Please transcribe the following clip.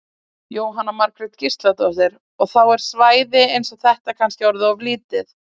Jóhanna Margrét Gísladóttir: Og þá er svæði eins og þetta kannski orðið of lítið?